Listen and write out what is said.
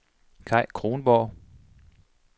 Kaj Kronborg